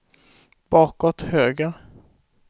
bakåt höger